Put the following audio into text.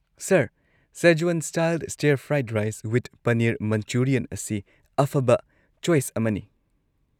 Sir, Szechuan style stir fried rice with paneer Manchurian ꯑꯁꯤ ꯑꯐꯕ choice ꯑꯃꯅꯤ꯫